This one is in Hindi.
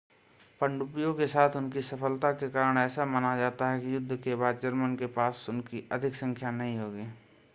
पनडुब्बियों के साथ उनकी सफलता के कारण ऐसा माना जाता है कि युद्ध के बाद जर्मन के पास उनकी अधिक संख्या नहीं होगी